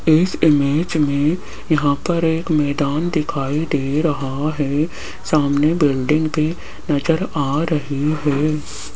इस इमेज में यहां पर एक मैदान दिखाई दे रहा है सामने बिल्डिंग भी नजर आ रही है।